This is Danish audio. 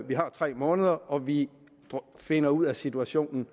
vi har tre måneder og vi finder ud af situationen